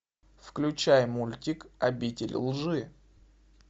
включай мультик обитель лжи